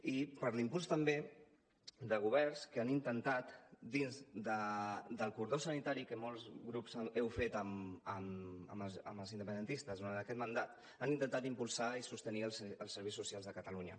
i per l’impuls també de governs que han intentat dins del cordó sanitari que molts grups heu fet amb els independentistes durant aquest mandat impulsar i sostenir els serveis socials de catalunya